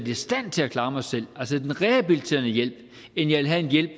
i stand til at klare mig selv altså en rehabiliterende hjælp end jeg vil have en hjælp